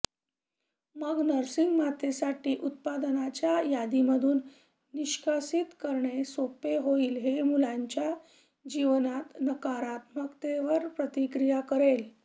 मग नर्सिंग मातेसाठी उत्पादनांच्या यादीमधून निष्कासित करणे सोपे होईल जे मुलांच्या जीवनात नकारात्मकतेवर प्रतिक्रीया करेल